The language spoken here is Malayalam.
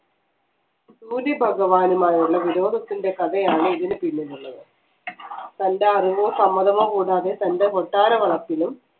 ഭൂരി ഭഗവാനുമായുള്ള വിരോധത്തിൻറെ കഥയാണ് ഇതിന് പിന്നിലുള്ളത് തൻറെ അറിവോ സമ്മതമോ കൂടാതെ തൻറെ കൊട്ടാര വളപ്പിലും